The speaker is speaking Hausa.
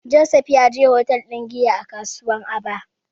Joseph ya je hotel ɗin giya a kasuwar Aba.